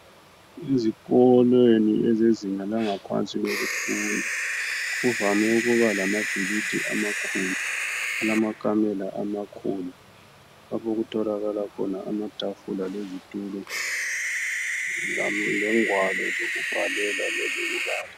Izikolo zabafundi abasezingeni eliphansi kuvame ukuba lamabhilidi amakhulu okulamakamela amakhulu lapho okutholakala khona amatafula lezitulo lengwalo zokubhalela lezo kubala